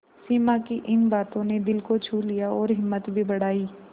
सिमा की इन बातों ने दिल को छू लिया और हिम्मत भी बढ़ाई